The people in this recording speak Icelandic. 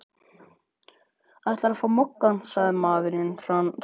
Ætlarðu að fá Moggann? sagði maðurinn hranalega.